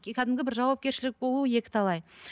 кәдімгі бір жауапкершідік болу екіталай